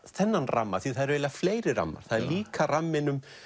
þennan ramma því það eru eiginlega fleiri rammar það er líka ramminn